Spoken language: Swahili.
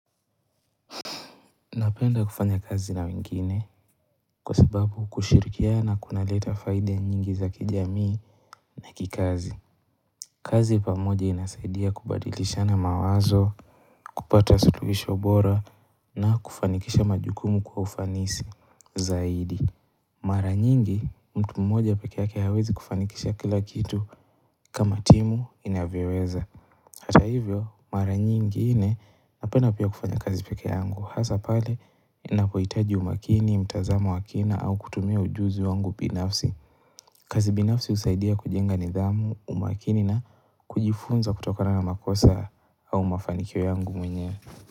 Napenda kufanya kazi na wengine kwa sababu kushirikiana kunaleta faida nyingi za kijamii na kikazi. Kazi pamoja inasaidia kubadilishana mawazo, kupata suluhisho bora na kufanikisha majukumu kwa ufanisi zaidi. Mara nyingi mtu mmoja peke yake hawezi kufanikisha kila kitu kama timu inavyoweza. Hata hivyo mara nyingine napenda pia kufanya kazi peke yangu Hasa pale inapohitaji umakini, mtazamo wa kina au kutumia ujuzi wangu binafsi kazi binafsi husaidia kujenga nidhamu, umakini na kujifunza kutokana na makosa au mafanikio yangu mwenyewe.